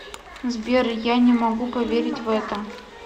сбер я не могу поверить в это